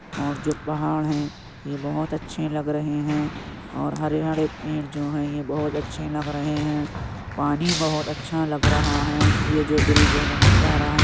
और जो पहाड़ हैं ये बहुत अच्छे लग रहे हैं और हरे हरे पेड़ जो हैं ये बहुत अच्छे लग रहे हैं पानी बहोत अच्छा लग रहा है। ये जो ब्रिज है बहुत प्यारा है।